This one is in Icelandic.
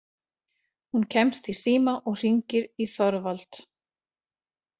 Hún kemst í síma og hringir í Þorvald.